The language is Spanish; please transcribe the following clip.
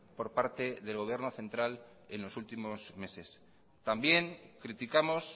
por parte del gobierno central en los últimos meses también criticamos